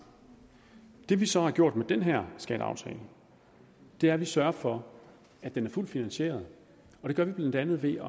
det vi så gør med den her skatteaftale er at vi sørger for at den er fuldt finansieret og det gør vi blandt andet ved